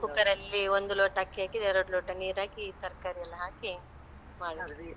ಹಾ cooker ಅಲ್ಲಿ ಒಂದು ಲೋಟ ಅಕ್ಕಿ ಹಾಕಿದ್ರೆ ಎರಡು ಲೋಟ ನೀರ್ ಹಾಕಿ ತರ್ಕಾರಿ ಎಲ್ಲ ಹಾಕಿ ಮಾಡುದು.